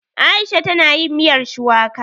Aisha ta na yin miyar shuwaka